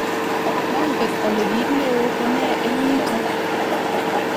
manget ale kiit neoo ko ne eng yuto